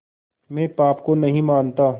मैं पाप को नहीं मानता